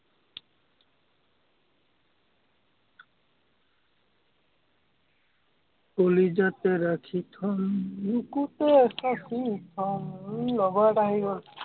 কলিজাত ৰাখি থম বুকুতে সাচিম আহ মোৰ লগৰ এটা আহি গল